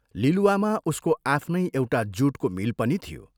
लिलुवामा उसको आफ्नै एउटा जूटको मिल पनि थियो।